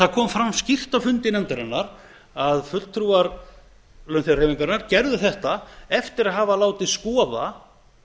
það kom fram skýrt á fundi nefnarinnar að fulltrúar launþegahreyfingarinnar gerðu þetta eftir að hafa látið skoða